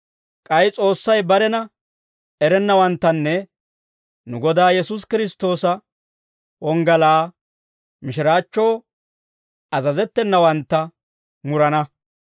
K'ay S'oossay barena erennawanttanne nu Godaa Yesuusi Kiristtoosa wonggalaa mishiraachchoo azazettenawantta murana.